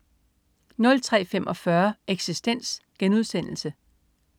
03.45 Eksistens*